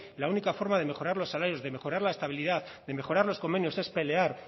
la única forma de mejorar los salarios de mejorar la estabilidad de mejorar los convenios es pelear